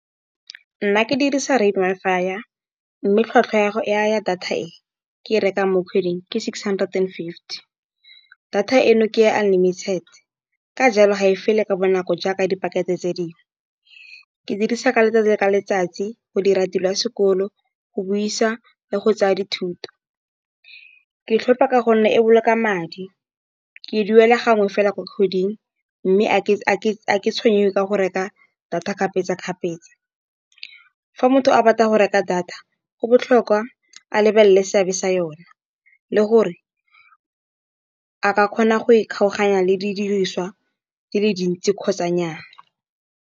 Nna ke dirisa Rain Wi-Fi, mme tlhwatlhwa ya data e ke e reka mo kgweding ke six hundred and fifty. Data e no ke unlimited, ka jalo ga e fele ka bonako jaaka di pakete tse dingwe. Ke dirisa ka letsatsi le letsatsi go dira tiro ya sekolo, go buisa le go tsaya dithuto. Ke e tlhopa ka gonne e boloka madi, ke e duela gangwe fela mo kgweding. Mme a ke tshwengwe ke go reka data kgapetsa-kgapetsa, fa motho a batla go reka data, go botlhokwa a lebelele seabe sa yona le gore a ka kgona go e kgaoganya le di diriswa di le dintsi kgotsa nyaa.